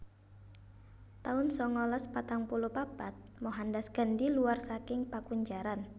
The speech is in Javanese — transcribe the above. taun sangalas patang puluh papat Mohandas Gandhi luwar saking pakunjaran